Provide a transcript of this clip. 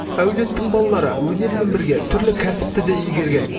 әулеттің балалары өнермен бірге түрлі кәсіпті де игерген